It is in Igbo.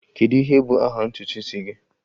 Kedu ihe bụ aha ntutu isi gị?